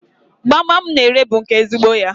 Gbamgbam m na-ere bụ nke ezigbo ya.